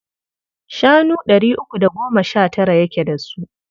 Shanu ɗari uku da goma sha tara yake da su.